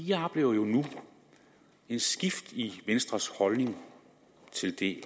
jeg oplever jo nu et skift i venstres holdning til det